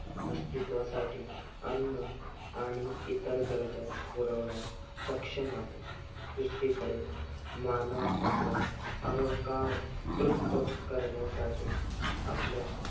असतित्वासाठी अन्न आणि इतर गरजा पुरवण्यास सक्षम आहे. दुसरीकडे मानव आपला अहंकार तृप्त करण्यासाठी आपल्या